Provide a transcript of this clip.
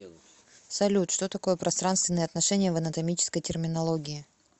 салют что такое пространственные отношения в анатомической терминологии